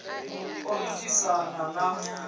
ḓ o ḓ isa n